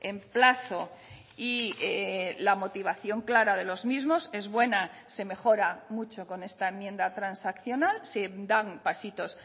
en plazo y la motivación clara de los mismos es buena se mejora mucho con esta enmienda transaccional se dan pasitos